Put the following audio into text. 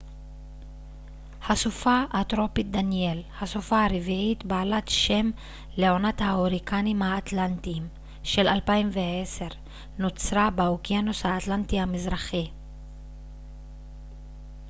הסופה הטרופית דניאל הסופה הרביעית בעלת שם לעונת ההוריקנים האטלנטיים של 2010 נוצרה באוקיינוס האטלנטי המזרחי